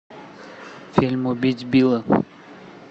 фильм убить билла